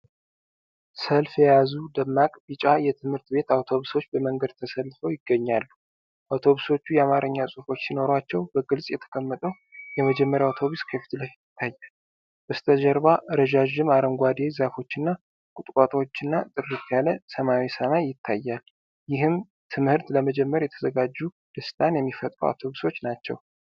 ሰልፍ የያዙ ደማቅ ቢጫ የትምህርት ቤት አውቶቡሶች በመንገድ ተሰልፈው ይገኛሉ። አውቶቡሶቹ የአማርኛ ጽሑፎች ሲኖሯቸው፣ በግልጽ የተቀመጠው የመጀመሪያው አውቶቡስ ከፊት ለፊት ይታያል። በስተጀርባ ረዣዥም አረንጓዴ ዛፎችና ቁጥቋጦዎችና ጥርት ያለ ሰማያዊ ሰማይ ይታያል። ይህም ትምህርት ለመጀመር የተዘጋጁ ደስታን የሚፈጥሩ አውቶቡሶች ናቸው።